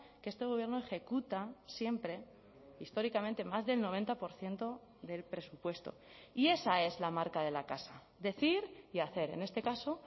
que este gobierno ejecuta siempre históricamente más del noventa por ciento del presupuesto y esa es la marca de la casa decir y hacer en este caso